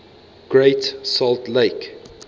great salt lake